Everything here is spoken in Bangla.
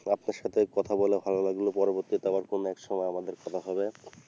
আপনার সাথে কথা বলে ভালো লাগলো, পরবর্তীতে আবার কোন একসময় আমাদের কথা হবে।